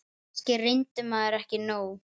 Kannski reyndi maður ekki nóg.